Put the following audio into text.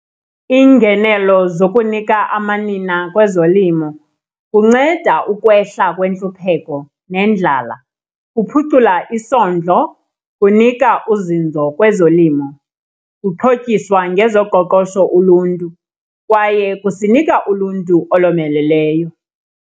Iingenelo zokunika amanina kwezolimo kunceda ukwehla kwentlupheko nendlala, kuphucula isondlo, kunika uzinzo kwezolimo. Kuxhotyiswa ngezoqoqosho uluntu kwaye kusinika uluntu olomeleleyo.